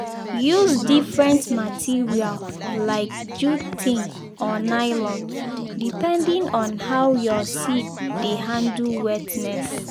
use different material like jute tin or nylon depending on how your seed dey handle wetness.